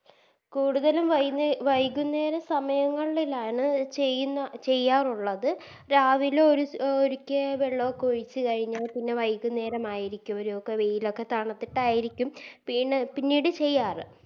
കൂടുതലും വൈ വൈകുന്നേരം സമയങ്ങളിലാണ് ചെയ്യ്ന്ന ചെയ്യാറുള്ളത് രാവിലെ ഒര് ഒരിക്കെ വെള്ളൊക്കെ ഒഴിച്ച് കഴിഞ്ഞ പിന്നെ വൈകുന്നേരമായിരിക്കും ഒര് ഒക്കെ വെയിലൊക്കെ തണുത്തിട്ടയിരിക്കും പിന്നെ പിന്നീട് ചെയ്യാറ്